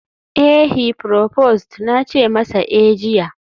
eh, heproposed na ce masa eh jiya